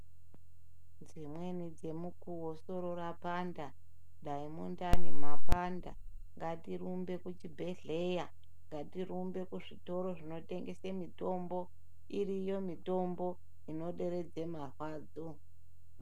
Dzimweni dzemukowo soro rapanda, dai mundani mapanda, ngatirumbe kuchibhedhleya, ngatirumbe kuzvitoro zvinotengese mitombo, iriyo mitombo inoderedze marwadzo.